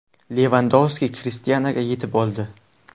Levandovski Krishtianuga yetib oldi.